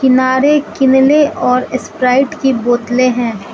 किनारे किनले और स्प्राइट की बोतलें है।